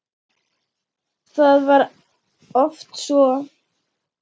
Það var oft svo.